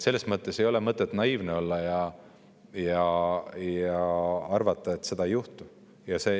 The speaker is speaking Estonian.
Selles mõttes ei ole mõtet naiivne olla ja arvata, et midagi sellist ei juhtu.